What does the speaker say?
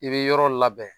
I bɛ yɔrɔ labɛn